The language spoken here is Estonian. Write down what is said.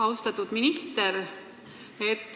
Austatud minister!